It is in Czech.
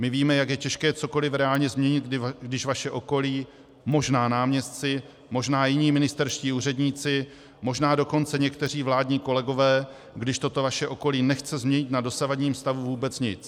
My víme, jak je těžké cokoliv reálně změnit, když vaše okolí, možná náměstci, možná jiní ministerští úředníci, možná dokonce někteří vládní kolegové, když toto vaše okolí nechce změnit na dosavadním stavu vůbec nic.